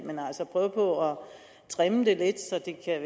trimme det lidt så det kan